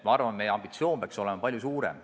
Ma arvan, et meie ambitsioon peaks olema palju suurem.